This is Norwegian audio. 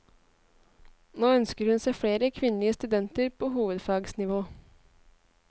Nå ønsker hun seg flere kvinnelige studenter på hovedfagsnivå.